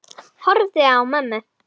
Horfi á mömmu.